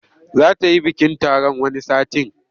Za ta yi bikin taron wani satin.